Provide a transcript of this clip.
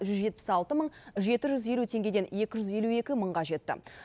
жүз жетпіс алты мың жеті жүз елу теңгеден екі жүз елу екі мыңға жетті